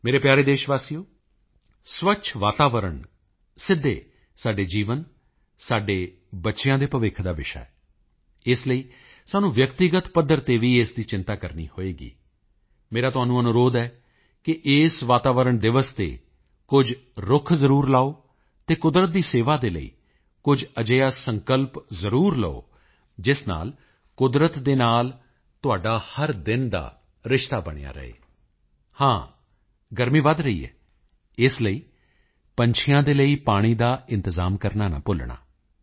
ਮੇਰੇ ਪਿਆਰੇ ਦੇਸ਼ਵਾਸੀਓ ਸਵੱਛ ਵਾਤਾਵਰਣ ਸਿੱਧੇ ਸਾਡੇ ਜੀਵਨ ਸਾਡੇ ਬੱਚਿਆਂ ਦੇ ਭਵਿੱਖ ਦਾ ਵਿਸ਼ਾ ਹੈ ਇਸ ਲਈ ਸਾਨੂੰ ਵਿਅਕਤੀਗਤ ਪੱਧਰ ਤੇ ਵੀ ਇਸ ਦੀ ਚਿੰਤਾ ਕਰਨੀ ਹੋਵੇਗੀ ਮੇਰਾ ਤੁਹਾਨੂੰ ਅਨੁਰੋਧ ਹੈ ਕਿ ਇਸ ਵਾਤਾਵਰਣ ਦਿਵਸ ਤੇ ਕੁਝ ਰੁੱਖ ਜ਼ਰੂਰ ਲਗਾਓ ਅਤੇ ਕੁਦਰਤ ਦੀ ਸੇਵਾ ਦੇ ਲਈ ਕੁਝ ਅਜਿਹਾ ਸੰਕਲਪ ਜ਼ਰੂਰ ਲਓ ਜਿਸ ਨਾਲ ਕੁਦਰਤ ਦੇ ਨਾਲ ਤੁਹਾਡਾ ਹਰ ਦਿਨ ਦਾ ਰਿਸ਼ਤਾ ਬਣਿਆ ਰਹੇ ਹਾਂ ਗਰਮੀ ਵਧ ਰਹੀ ਹੈ ਇਸ ਲਈ ਪੰਛੀਆਂ ਦੇ ਲਈ ਪਾਣੀ ਦਾ ਇੰਤਜ਼ਾਮ ਕਰਨਾ ਨਾ ਭੁੱਲਣਾ